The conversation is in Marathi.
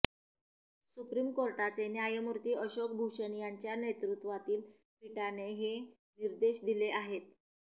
सुप्रीम कोर्टाचे न्यायमूर्ती अशोक भूषण यांच्या नेतृत्वातील पीठाने हे निर्देश दिले आहेत